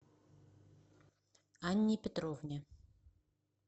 анне петровне